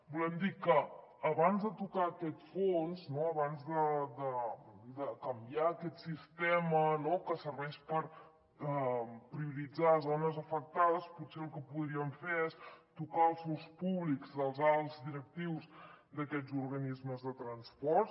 volem dir que abans de tocar aquest fons abans de canviar aquest sistema que serveix per prioritzar les zones afectades potser el que podríem fer és tocar els sous públics dels alts directius d’aquests organismes de transports